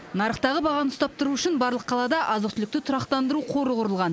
нарықтағы бағаны ұстап тұру үшін барлық қалада азық түлікті тұрақтандыру қоры құрылған